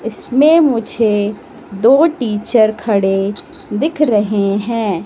इसमें मुझे दो टीचर खड़े दिख रहे हैं।